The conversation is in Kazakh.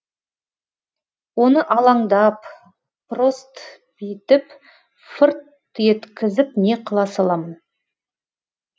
оны алаңдап прост битіп фырт еткізіп не қыла саламын